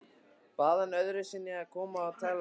Bað hann öðru sinni að koma og tala við sig.